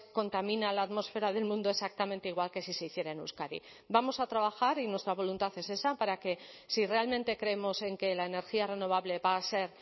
contamina la atmósfera del mundo exactamente igual que si se hiciera en euskadi vamos a trabajar y nuestra voluntad es esa para que si realmente creemos en que la energía renovable va a ser